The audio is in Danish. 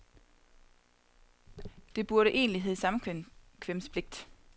Det burde egentlig hedde samkvemspligt.